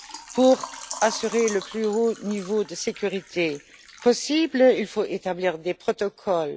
Pour assurer le plus haut niveau de sécurité possible, il faut établir des protocoles.